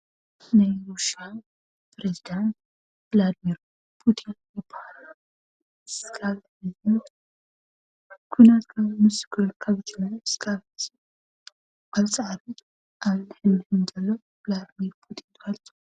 ናይ ሩስያ ኘሬዚዳንት ብላርሚንፑቲን ይባሃሉ፡፡ ክሳብ ሕዚ ኩናት ካብ ዝጅምር ኣብዚ ዓመት ብላርሚንፑቲን ?????